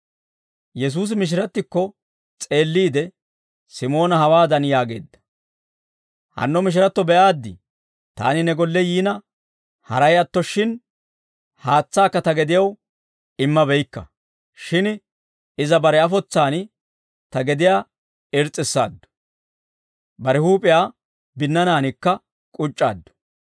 Yesuusi mishirattikko s'eelliide, Simoona hawaadan yaageedda; «Hanno mishiratto be'aaddii? Taani ne golle yiina haray atto shin haatsaakka ta gediyaw imma beykka; shin iza bare afotsaan ta gediyaa irs's'issaaddu; bare huup'iyaa binnanaankka k'uc'c'aaddu.